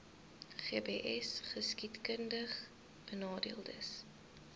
gbsgeskiedkundigbenadeeldes